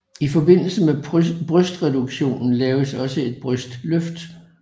I forbindelse med brystreduktionen laves også et brystløft